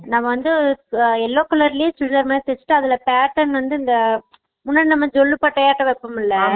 நாம்ம வந்து yellow colour லயு chudithaar மாதிரி தேச்சிட்டு அதுல pattern வந்து இந்த முன்னாடி வந்து இந்த ஜொள்ளு பட்ட மாறி வேப்போம்ல